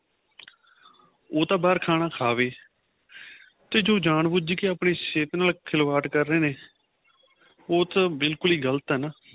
ਉਹ ਤਾਂ ਬਹਾਰ ਖਾਣਾ ਖਾਵੇ ਤੇ ਜੋ ਜਾਣ ਬੁੱਜ ਗਏ ਆਪਣੀ ਸਿਹਤ ਨਾਲ ਖਿਲਵਾੜ ਕਰ ਰਹੇ ਨੇ ਉਹ ਤੇ ਬਿਲਕੁਲ ਹੀ ਗ਼ਲਤ ਏ ਨਾ